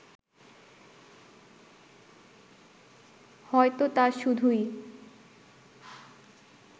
হয়তো তা শুধুই